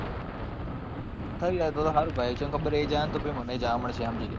થઇ જાય તો તો સારું ભાઈ કેમ ખબર એ જશે તો પછી મને પણ જવા મળશે સમજી લે.